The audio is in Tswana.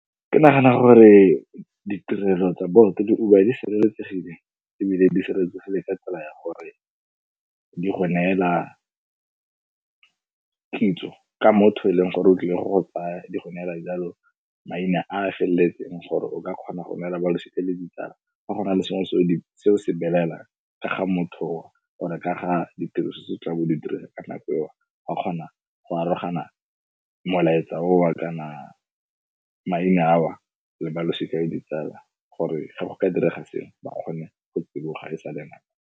Ke nagana gore ditirelo tsa Bolt le Uber, di sireletsegile ebile di sireletsegile ka tsela ya gore di go neela kitso ka motho o e leng gore o tlile go go tsaya. Di go neela yaalo maina a feleletseng gore o ka kgona go neela balosika le ditsala fa go na le sengwe se o se belaelang ka ga motho oo, or ka ga ditiro tse o tla beng o di dira ka nako eo, wa kgona go arogana molaetsa owa kana maina awa o le balosika le ditsala gore ge go ka direga sengwe, ba kgone go tsiboga e sale nako.